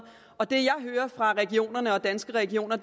og det jeg hører fra regionerne og danske regioner